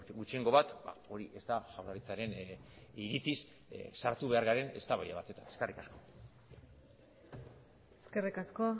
gutxiengo bat hori ez da jaurlaritzaren iritziz sartu behar garen eztabaida batetan eskerrik asko eskerrik asko